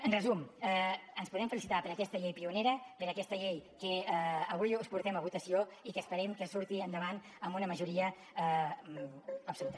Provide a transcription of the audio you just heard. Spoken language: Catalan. en resum ens podem felicitar per aquesta llei pionera per aquesta llei que avui us portem a votació i que esperem que surti endavant amb una majoria absoluta